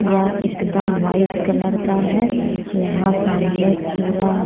यहाँ एकदम white colour का है। यहाँ सामने पुरा --